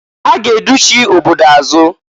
Ha ga educhi obodo azụ.